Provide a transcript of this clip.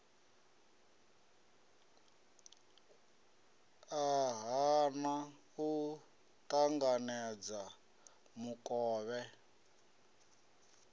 a hana u ṱanganedza mukovhe